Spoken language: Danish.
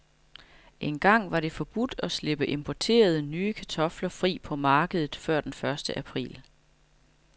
Engang var det forbudt at slippe importerede, nye kartofler fri på markedet før den første april.